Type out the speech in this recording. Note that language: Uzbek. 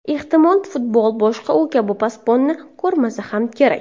Ehtimol, futbol boshqa u kabi posbonni ko‘rmasa ham kerak.